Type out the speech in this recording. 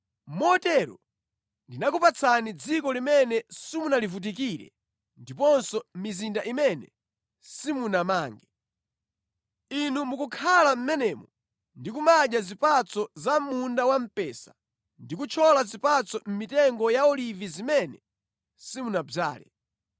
Motero ndinakupatsani dziko limene simunalivutikire ndiponso mizinda imene simunamange. Inu mukukhala mʼmenemo ndi kumadya zipatso za mʼmunda wamphesa ndi kuthyola zipatso mʼmitengo ya olivi zimene simunadzale.’